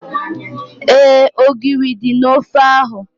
Éè, ogiri dị n'ofe ahu